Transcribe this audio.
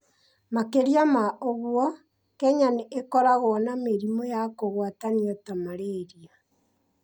Makĩria ma ũguo, Kenya nĩ ĩkoragwo na mĩrimũ ya kũgwatanio ta malaria